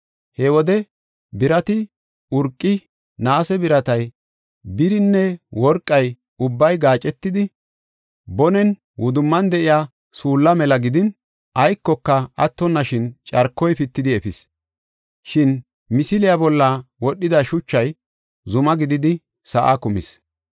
He wode birati, urqi, naase biratay, birinne worqey ubbay gaacetidi, bonen wudumman de7iya suulaa mela gidin, aykoyka attonnashin carkoy pitidi efis. Shin misiliya bolla wodhida shuchay zuma gididi sa7aa kumis.